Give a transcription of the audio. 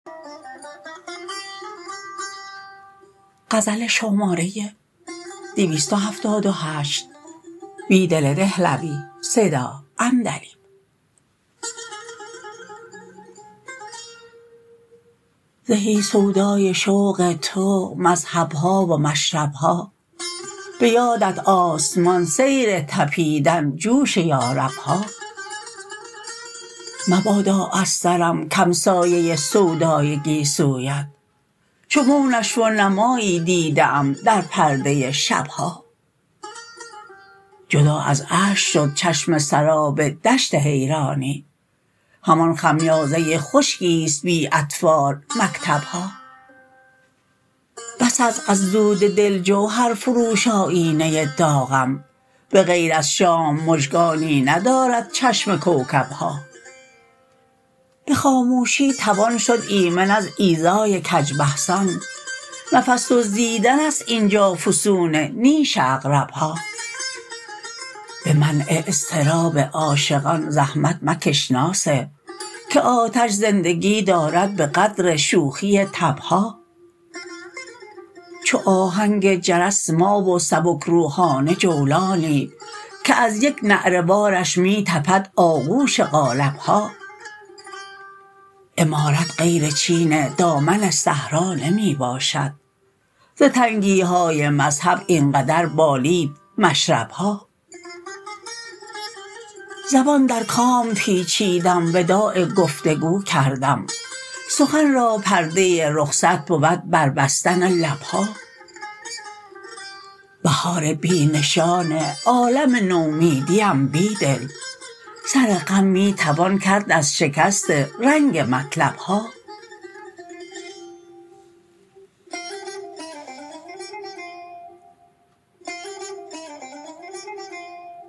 زهی سودایی شوق تو مذهب ها و مشرب ها به یادت آسمان سیر تپیدن جوش یارب ها مبادا از سرم کم سایه سودای گیسویت چو مو نشو و نمایی دیده ام در پرده شب ها جدا از اشک شد چشم سراب دشت حیرانی همان خمیازه خشکی ست بی اطفال مکتب ها بس است از دود دل جوهرفروش آیینه داغم به غیر از شام مژگانی ندارد چشم کوکب ها به خاموشی توان شد ایمن از ایذای کج بحثان نفس دزدیدن است اینجا فسون نیش عقرب ها به منع اضطراب عاشقان زحمت مکش ناصح که آتش زندگی دارد به قدر شوخی تب ها چو آهنگ جرس ما و سبکروحانه جولانی که از یک نعره وارش می تپد آغوش قالب ها عمارت غیر چین دامن صحرا نمی باشد ز تنگی های مذهب این قدر بالید مشرب ها زبان در کام پیچیدم وداع گفتگو کردم سخن را پرده رخصت بود بربستن لب ها بهار بی نشان عالم نومیدی ام بیدل سر غم می تون کرد از شکست رنگ مطلب ها